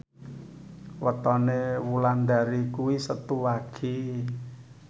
wetone Wulandari kuwi Setu Wage